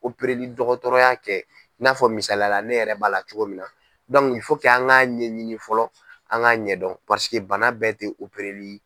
Opereli dɔgɔtɔrɔya kɛ i n'a fɔ misaliyala ne yɛrɛ b'a la cogo min na an k'a ɲɛɲini fɔlɔ an k'a ɲɛdɔn bana bɛɛ tɛ opereli ye.